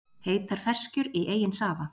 Heitar ferskjur í eigin safa